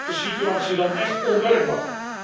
Dat maakt de situatie dan echt onwerkbaar.